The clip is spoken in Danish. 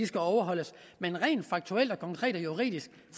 skal overholdes men rent faktuelt konkret og juridisk